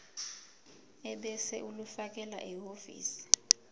ebese ulifakela ehhovisi